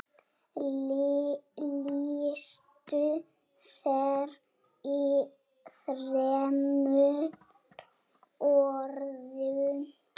Lýstu þér í þremur orðum.